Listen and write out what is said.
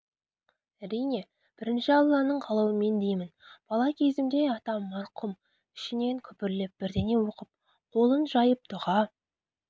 әрине бірінші алланың қалауымен деймін бала кезімде атам марқұм ішінен күбірлеп бірдеңе оқып қолын жайып дұға